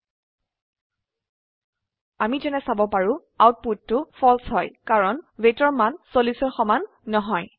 ধৰক 50 আমি যেনে চাব পাৰো আউটপুটটোFalse হয় কাৰণ weightৰ মান 40 ৰ সমান নহয়